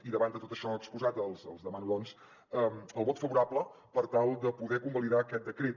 i davant de tot això exposat els demano doncs el vot favorable per tal de poder convalidar aquest decret